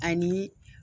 Ani